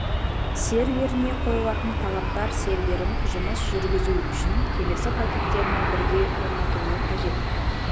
серверіне қойылатын талаптар серверін жұмысын жүргізу үшін келесі пакеттерімен бірге орнатылуы қажет